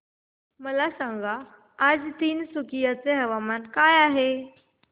मला सांगा आज तिनसुकिया चे तापमान काय आहे